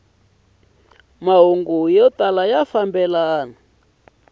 mahungu ya tala ku fambelana